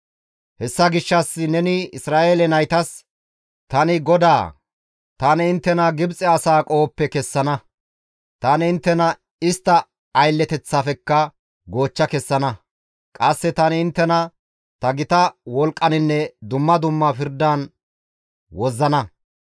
«Hessa gishshas neni Isra7eele naytas, ‹Tani GODAA; tani inttena Gibxe asaa qohoppe kessana; tani inttena istta aylleteththafekka goochcha kessana; qasse tani inttena ta gita wolqqaninne dumma dumma pirdan wozzana.